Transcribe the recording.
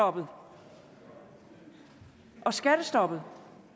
om at skatterne